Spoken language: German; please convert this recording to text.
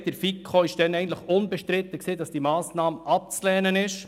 In der FiKo war unbestritten, dass die Massnahme abzulehnen ist.